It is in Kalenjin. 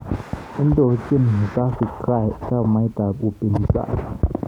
Indochin Tsavigrai chamait ab upinzani